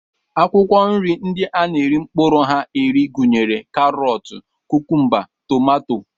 Akwụkwọ nri ndị a na-eri mkpụrụ ha eri gụnyere karọt, kukumba, tomato